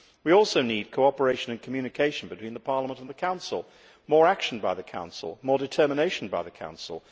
We also need cooperation and communication between Parliament and the Council, more action by the Council, more determination by the Council.